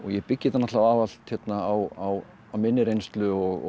byggi þetta allt á minni reynslu og